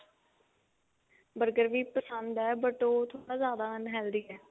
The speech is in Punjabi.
burger ਵੀ ਪਸੰਦ ਹੈ but ਉਹ ਥੋੜਾ ਜਿਆਦਾ unhealthy ਹੈ